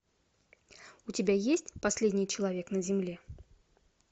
у тебя есть последний человек на земле